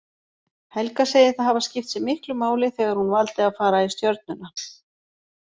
Helga segir það hafa skipt sig miklu máli þegar hún valdi að fara í Stjörnuna.